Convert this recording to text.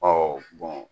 Ɔ